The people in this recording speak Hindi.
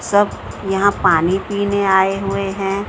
सब यहां पानी पीने आए हुए हैं।